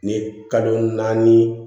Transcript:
Ni kalo naani